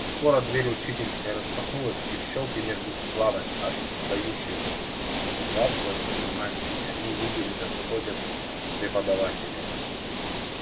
скоро дверь учительской распахнулась и в щёлки между складок от дающих затхлостью мантий они увидели как входят преподаватели